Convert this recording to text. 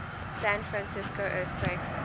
san francisco earthquake